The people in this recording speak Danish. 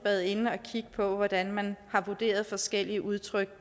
været inde at kigge på hvordan man har vurderet forskellige udtryk